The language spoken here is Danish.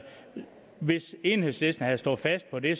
hvis enhedslisten havde stået fast på det